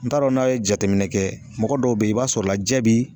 N t'a dɔn n'a ye jateminɛ kɛ, mɔgɔ dɔw bɛ yen i b'a sɔrɔ la jɛ bi